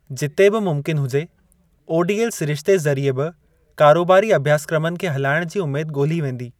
जिते बि मुमकिन हुजे, ओडीएल सिरिश्ते ज़रिए बि कारोबारी अभ्यासक्रमनि खे हलाइण जी उमेद ॻोल्ही वेंदी।